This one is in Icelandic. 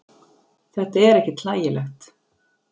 Þetta er ekkert hlægilegt.